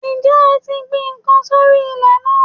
Ǹjẹ́ ẹ ti gbin n kan sórí ilè náà